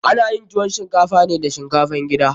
Ana yin tuwon shinkafa ne da shinkafan gida.